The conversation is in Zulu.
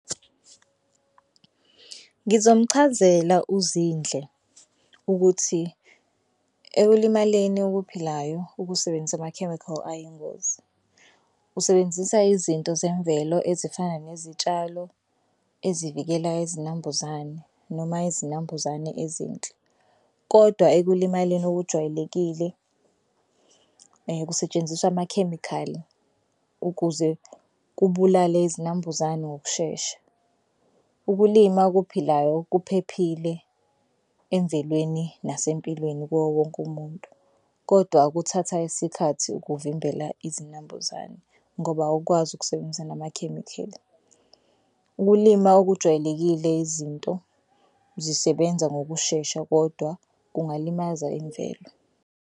Ngizomuchazela uZinhle ukuthi ekulimaleni okuphilayo ukusebenzisa ama-chemical ayingozi. Usebenzisa izinto zemvelo ezifana nezitshalo ezivikela izinambuzane noma izinambuzane ezinhle kodwa ekulimaleni okujwayelekile kusetshenziswa amakhemikhali ukuze kubulale izinambuzane ngokushesha. Ukulima okuphilayo kuphephile emvelweni nasempilweni kuwo wonke umuntu, kodwa kuthatha isikhathi ukuvimbela izinambuzane ngoba awukwazi ukusebenzisa namakhemikhali. Ukulima okujwayelekile izinto zisebenza ngokushesha kodwa kungalimaza imvelo.